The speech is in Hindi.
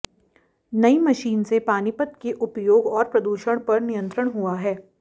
नई मशीन से पानीपत के उपयोग और प्रदूषण पर नियंत्रण हुआ है